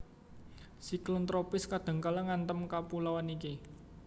Siklon tropis kadhangkala ngantem kapuloan iki